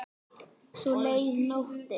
Svo leið nóttin.